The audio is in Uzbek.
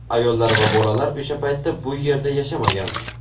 Ayollar va bolalar o‘sha paytda bu yerda yashamagan.